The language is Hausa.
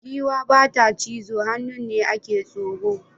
Giwa ba ta cizo, hannun ne a ke tsoro.